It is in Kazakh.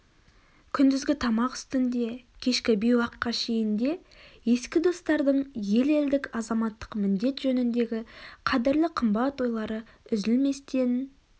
күндізгі тамақ үстінде кешкі бейуаққа шейін де ескі достардың ел елдік азаматтық міндет жөніндегі қадірлі қымбат ойлары үзілместен